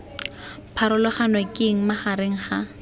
pharologano ke eng magareng ga